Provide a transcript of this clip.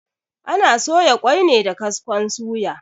Ana soya ƙoi ne da kaskon suya.